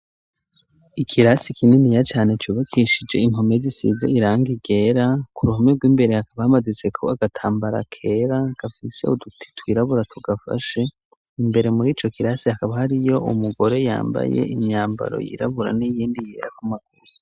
Ikirasi kininiya cane cyubatishije impome zisize irangi ryera. Ku ruhome rw'imbere hakaba hamaditse ko agatambara kera gafise uduti twirabura tugafashe imbere muri ico kirasi akaba hariyo umugore yambaye imyambaro yirabura n'iyindi yera ku maguru.